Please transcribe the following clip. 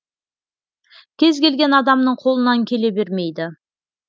кез келген адамның қолынан келе бермейді